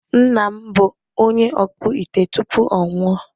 Nna m bụ onye ọkpụ ite tupu ọ nwụọ.